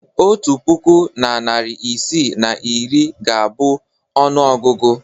Otu puku na narị isii na iri ga-abụ ọnụọgụgụ.